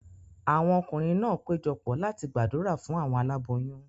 Awọn ọkunrin náà pejọ pọ̀ láti gbàdúrà fún awọn aláboyún